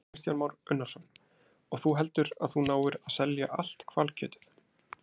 Kristján Már Unnarsson: Og þú heldur að þú náir að selja allt hvalkjötið?